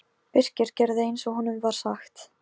Hvort hún vildi að bróðir þeirra yrði sér til skammar?